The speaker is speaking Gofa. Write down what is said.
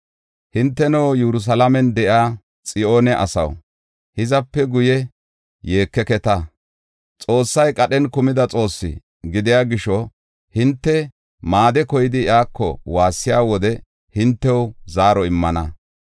Hinteno, Yerusalaamen de7iya Xiyoone asaw, hizape guye yeekeketa. Xoossay qadhen kumida Xoossi gidiya gisho, hinte maade koyidi iyako waassiya wode hintew zaaro immana.